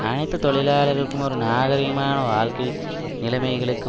அனைத்து தொழிலாளர்களுக்கும் ஒரு நாகரீகமான வாழ்க்கை நிலைமைகளுக்கு